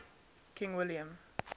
king william